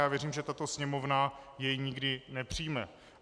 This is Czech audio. Já věřím, že tato Sněmovna jej nikdy nepřijme.